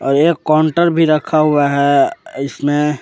एक काउंटर भी रखा हुआ है इसमें--